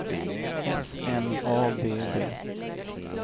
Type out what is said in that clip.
S N A B B